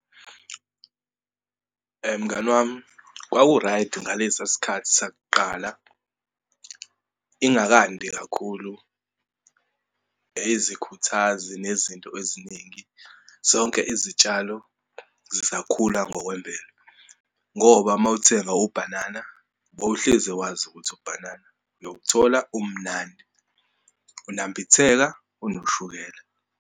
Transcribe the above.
Mngani wami, kwaku-right ngalesa sikhathi sakuqala, ingakandi kakhulu izikhuthazi nezinto eziningi, zonke izitshalo zisakhula ngokwemvelo. Ngoba uma uthenga ubhanana, wawuhleze wazi ukuthi ubhanana, nokuthola umnandi, unambitheka, unoshukela.